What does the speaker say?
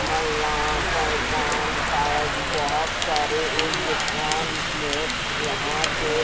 नल्ला पो-पोन बोहोत सारे इस दूकान में यहाँ पे--